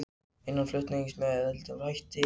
Innanlandsflug með eðlilegum hætti